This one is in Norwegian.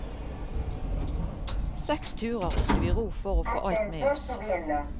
Seks turer måtte vi ro for å få alt med oss.